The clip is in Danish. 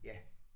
Ja